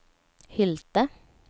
Hylte